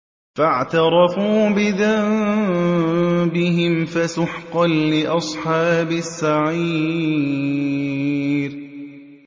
فَاعْتَرَفُوا بِذَنبِهِمْ فَسُحْقًا لِّأَصْحَابِ السَّعِيرِ